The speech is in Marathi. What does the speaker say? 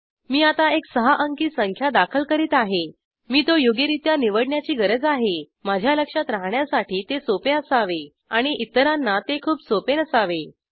मी आता एक सहा अंकी संख्या दाखल करीत आहे मी तो योग्यरित्या निवडण्याची गरज आहे माझ्या लक्षात राहण्यासाठी ते सोपे असावे आणि इतरांना ते खूप सोपे नसावे